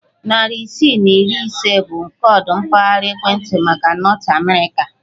Narị isii na iri ise bụ koodu mpaghara ekwentị maka Nọt Amerịka.